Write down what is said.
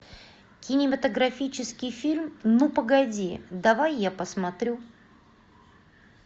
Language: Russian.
кинематографический фильм ну погоди давай я посмотрю